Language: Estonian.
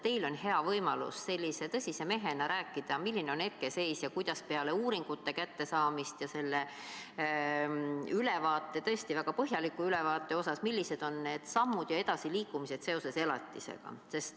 Teil on hea võimalus sellise tõsise mehena rääkida, milline on hetkeseis ning kuidas on peale uuringute ja ülevaate – tõesti väga põhjaliku ülevaate – tegemist elatise teemaga plaanis edasi liikuda.